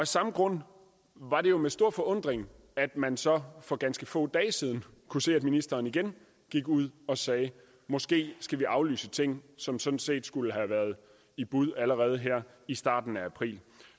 samme grund var det jo med stor forundring at man så for ganske få dage siden kunne se at ministeren igen gik ud og sagde at vi måske skal aflyse ting som sådan set skulle have været i bud allerede her i starten af april